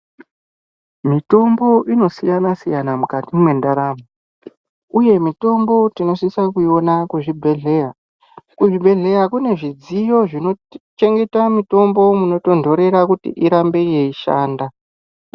Mitombo inosiyana-siyana mukati mwendaramo uye mitombo tinosisa kuiona kuzvibhedhleya. Kuzvibhedhleya kune zvidziyo zvinochengeta mitombo munotondorera kuti irambe yeishanda.